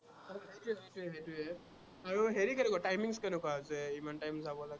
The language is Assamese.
সেইটোৱেই, সেইটোৱেই, সেইটোৱেই আৰু হেৰি কেনেকুৱা, timing ট কেনেকুৱা যে ইমান time যাব লাগে।